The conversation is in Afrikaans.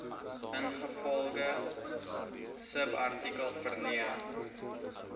ingevolge subartikel verleen